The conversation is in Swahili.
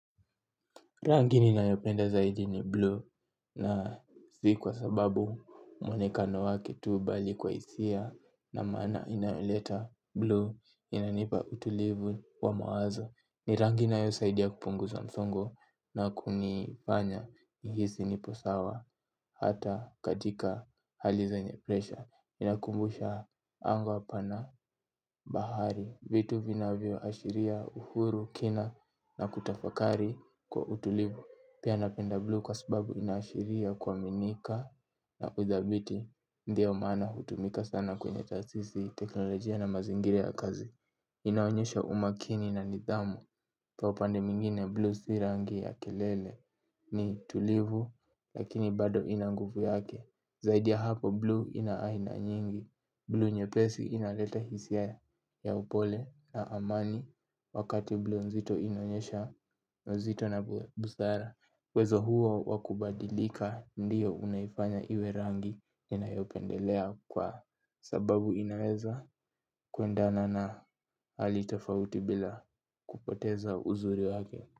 Rangi ninayopenda zaidi ni blue na si kwa sababu mwonekano wake tu bali kwa hisia na maana inayoleta blue inanipa utulivu wa mawazo. Ni rangi inayosaidia kupunguza msongo na kunifanya nihisi nipo sawa hata katika hali zenye presha inanikumbusha anga bahari. Vitu vinavyoashiria uhuru kina na kutafakari kwa utulivu. Pia napenda blue kwa sababu inaashiria kuaminika na kudhabiti. Ndio mana hutumika sana kwenye taasisi teknolojia na mazingira ya kazi inaonyesha umakini na nidhamu kwa upande mwingine blue si rangi ya kelele ni tulivu. Lakini bado ina nguvu yake. Zaidi ya hapo blue ina aina nyingi. Blue nyepesi inaleta hisia ya upole na amani. Wakati blue nzito inaonyesha uzito na busara uwezo huo wa kubadilika ndio unaifanya iwe rangi inayopendelea kwa sababu inaweza kuendana na hali tafauti bila kupoteza uzuri wake.